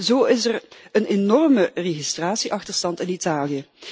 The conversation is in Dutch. Zo is er een enorme registratie achterstand in Italië.